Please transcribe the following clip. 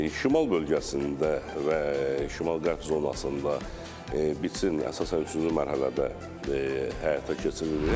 Şimal bölgəsində və şimal-qərb zonasında biçin əsasən üçüncü mərhələdə həyata keçirilir.